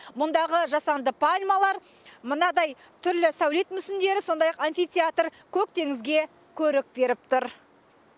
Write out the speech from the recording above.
мұндағы жасанды пальмалар мынадай түрлі сәулет мүсіндері сондай ақ амфитеатр көк теңізге көрік беріп тұр